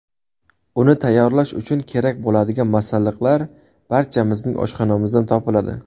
Uni tayyorlash uchun kerak bo‘ladigan masalliqlar barchamizning oshxonamizdan topiladi.